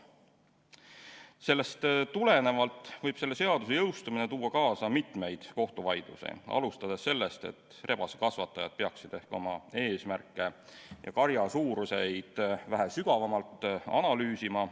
Sellest tulenevalt võib selle seaduse jõustumine tuua kaasa kohtuvaidlusi, alustades sellest, et rebasekasvatajad peaksid ehk oma eesmärke ja karja suurust vähe sügavamalt analüüsima.